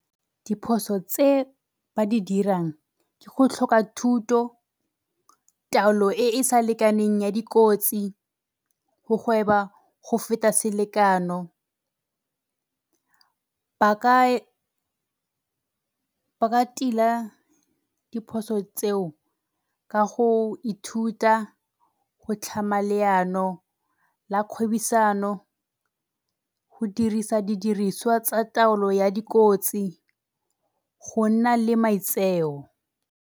Diphoso tse ba di dirang ke go tlhoka thuto, taolo e e sa lekaneng ya dikotsi, go gweba go feta selekano. Ba ka, ba ka tila diphoso tseo ka go ithuta go tlhama leano la kgwebisano, go dirisa didiriswa tsa taolo ya dikotsi, go nna le maitseo.